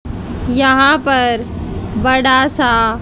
यहां पर बड़ा सा--